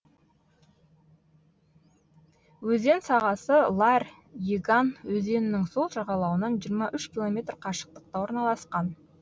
өзен сағасы ларь еган өзенінің сол жағалауынан жиырма үш километр қашықтықта орналасқан